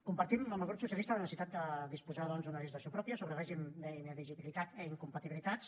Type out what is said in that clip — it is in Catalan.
compartim amb el grup socialista la necessitat de disposar doncs d’una legislació pròpia sobre règim d’inelegibilitat i incompatibilitats